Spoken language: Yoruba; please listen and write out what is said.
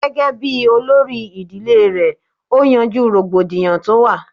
Gẹ́gẹ́ bíi olórí ìdílé rẹ̀ ó yanjú rògbòdìyàn tó wà